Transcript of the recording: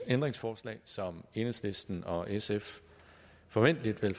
ændringsforslag som enhedslisten og sf forventelig vil